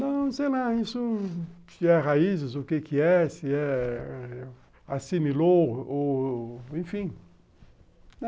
Não sei lá, isso... se é raízes, o que é, se é... assimilou ou... enfim.